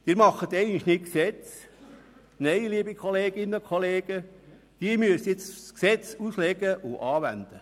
Sie machen für einmal keine Gesetze, nein, liebe Kolleginnen und Kollegen, Sie müssen jetzt Gesetze auslegen und anwenden.